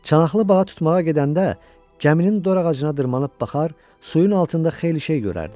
Çanaqlı balıq tutmağa gedəndə gəminin dor ağacına dırmanıb baxar, suyun altında xeyli şey görərdim.